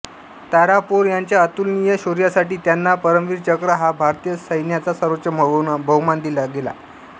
तारापोर यांच्या अतुलनीय शौर्यासाठी त्यांना परमवीर चक्र हा भारतीय सैन्याचा सर्वोच्च बहुमान दिला गेला